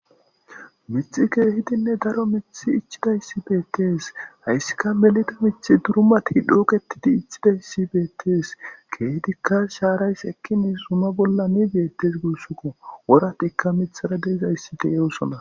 Miththi keehidinne daro miththi ichchidays beettees haysika melida miththi durumati cukettidi uttidays beettees,sekkin shaaray zuma bolla dizay nne woran miththi dizay beettees.